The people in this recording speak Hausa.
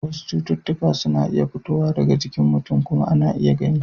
Wasu cututtuka suna fitowa daga jikin mutum kuma ana iya gani.